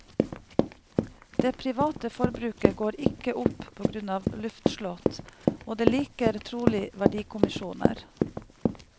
Det private forbruket går ikke opp på grunn av luftslott, og det liker trolig verdikommisjoner.